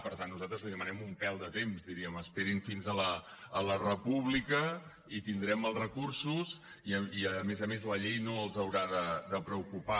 per tant nosaltres li demanem un pèl de temps diríem esperin fins a la república i tindrem els recursos i a més a més la llei no els haurà de preocupar